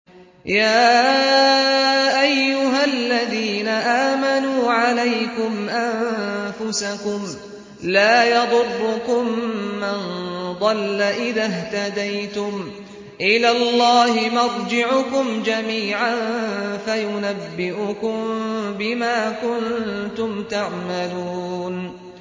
يَا أَيُّهَا الَّذِينَ آمَنُوا عَلَيْكُمْ أَنفُسَكُمْ ۖ لَا يَضُرُّكُم مَّن ضَلَّ إِذَا اهْتَدَيْتُمْ ۚ إِلَى اللَّهِ مَرْجِعُكُمْ جَمِيعًا فَيُنَبِّئُكُم بِمَا كُنتُمْ تَعْمَلُونَ